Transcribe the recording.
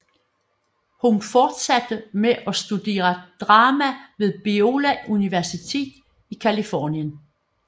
Hun fortsatte at studere drama ved Biola University i Californien